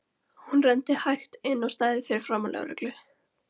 Hún renndi hægt inn á stæðið fyrir framan lögreglu